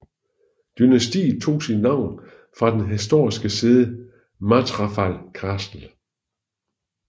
Dynastiet tog sit navn fra det historiske sæde Mathrafal Castle